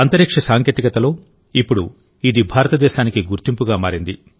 అంతరిక్ష సాంకేతికతలో ఇప్పుడు ఇది భారతదేశానికి గుర్తింపుగా మారింది